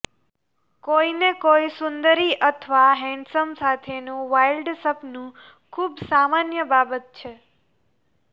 કોઈને કોઈ સુંદરી અથવા હેન્ડસમ સાથેનું વાઇલ્ડ સપનું ખુબ સામાન્ય બાબત છે